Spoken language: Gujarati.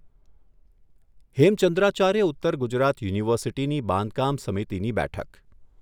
હેમચંદ્રાચાર્ય ઉત્તર ગુજરાત યુનિવર્સિટીની બાંધકામ સમિતિની બેઠક